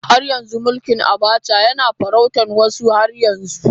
Har yanzu mulkin Abacha yana farautar wasunmu har yanzu.